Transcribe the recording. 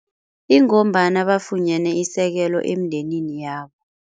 Ingombana bafunyane isekelo emndenini yabo.